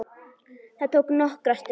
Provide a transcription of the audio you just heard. Það tók nokkra stund.